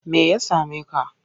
Me ya same ka?